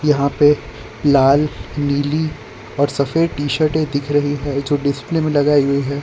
यहां पे लाल नीली और सफेद टी शर्ट दिख रही जो डिस्प्ले में लगाई गई है।